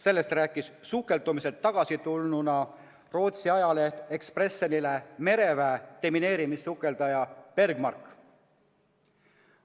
Sellest rääkis Rootsi ajalehele Expressen sukeldumiselt tagasi tulnud mereväe demineerimissukelduja Bergmark.